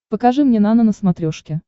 покажи мне нано на смотрешке